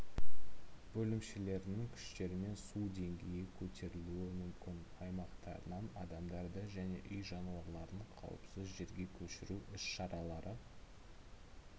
бөлімшелерінің күштерімен су деңгейі көтерілуі мүмкін аймақтарынан адамдарды және үй жануарларын қуіпсіз жерге көшіру іс-шаралары